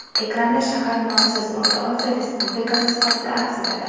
Ekranda shahar nomsiz O‘rta Osiyo respublikasi sifatida aks etadi.